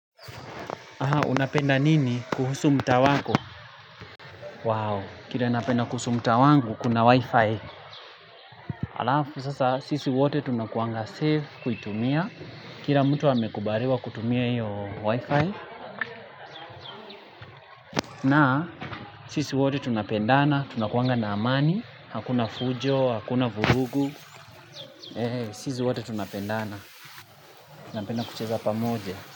Aha, unapenda nini kuhusu mtaa wako? Wow, kile napenda kuhusu mtaa wangu kuna wifi. Alafu, sasa sisi wote tunakuanga safe kuitumia. Kila mtu amekubariwa kutumia hiyo wifi. Na sisi wote tunapendana, tunakuanga na amani. Hakuna fujo, hakuna vurugu. Sisi wote tunapendana. Tunapenda kucheza pamoja.